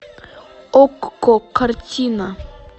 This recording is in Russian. окко картина